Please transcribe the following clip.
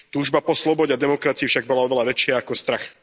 Túžba po slobode a demokracii však bola oveľa väčšia ako strach.